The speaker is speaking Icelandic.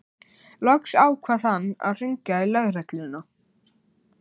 Loks ákvað hann að hringja í lögregluna.